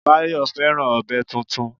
Báyọ̀ fẹ́ràn ọ̀bẹ tuntun